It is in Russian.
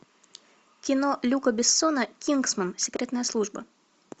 кино люка бессона кингсман секретная служба